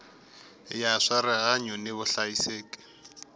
ya swa rihanyu ni vuhlayiseki